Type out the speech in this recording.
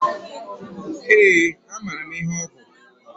Ee, amara m ihe ọ bu.